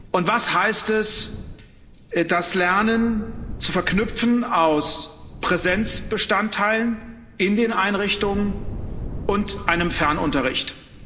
Und was heißt es, das Lernen zu verknüpfen aus Präsenzbestandteilen in den Einrichtungen und einem Fernunterricht?